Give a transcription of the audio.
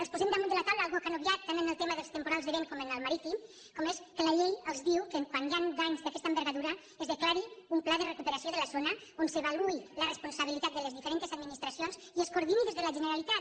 els posem damunt de la taula una cosa que han obviat tant en el tema dels temporals de vent com en el marítim com és que la llei els diu que quan hi han danys d’aquesta envergadura es declari un pla de recuperació de la zona en què s’avaluï la responsabilitat de les diferents administracions i es coordini des de la generalitat